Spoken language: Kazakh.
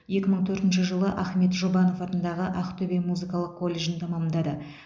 екі мың төртінші жылы ахмет жұбанов атындағы ақтөбе музыкалық колледжін тәмамдады